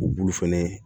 Bulu fɛnɛ